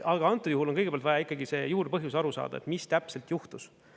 Aga antud juhul on kõigepealt vaja ikkagi see juurpõhjus aru saada, mis täpselt juhtus.